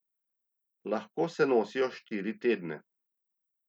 Lahko se nosijo štiri tedne.